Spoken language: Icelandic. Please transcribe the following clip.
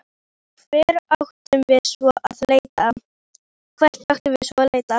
Hvert áttum við svo sem að leita?